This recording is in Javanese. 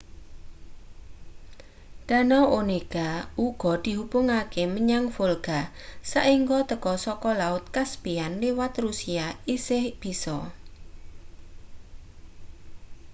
danau onega uga dihubungake menyang volga saengga teka saka laut caspian liwat rusia isih bisa